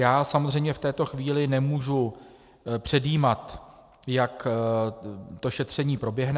Já samozřejmě v této chvíli nemůžu předjímat, jak to šetření proběhne.